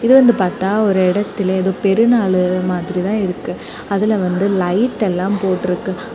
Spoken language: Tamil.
தூர இருந்து பாத்தா ஒரு இடத்துல ஏதோ பெருநாள் மாதிரி தான் இருக்கு. அதுல வந்து லைட் எல்லாம் போட்டுருக்கு.